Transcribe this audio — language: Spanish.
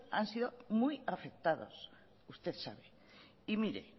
han sido muy afectados usted sabe y mire